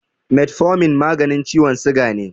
Metfomin maganin ciwon siga ne.